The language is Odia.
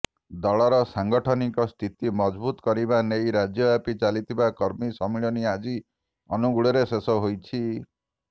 ଦଳର ସାଂଗଠନିକ ସ୍ଥିତି ମଜଭୁତ କରିବା ନେଇ ରାଜ୍ୟବ୍ୟାପୀ ଚାଲିଥିବା କର୍ମୀ ସମ୍ମିଳନୀ ଆଜି ଅନୁଗୋଳରେ ଶେଷ ହୋଇଛି